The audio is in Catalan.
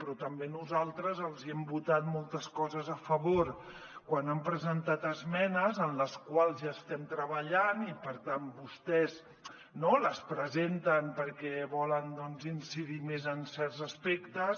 però també nosaltres els hem votat moltes coses a favor quan han presentat esmenes en les quals ja estem treballant i per tant vostès les presenten perquè volen doncs incidir més en certs aspectes